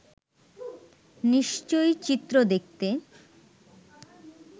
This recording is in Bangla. নিশ্চয়ই চিত্র দেখতে